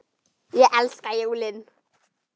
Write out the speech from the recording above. Ég elska jólin!